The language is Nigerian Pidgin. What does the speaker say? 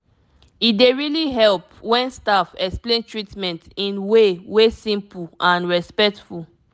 e dey really help when staff explain treatment in way wey simple and respectful